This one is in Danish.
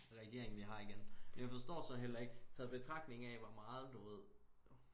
regering vi har igen jeg forstår så heller ikke taget i betragtning af hvor meget du ved